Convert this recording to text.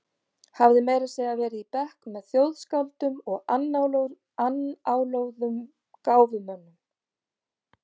Hafði meira að segja verið í bekk með þjóðskáldum og annáluðum gáfumönnum.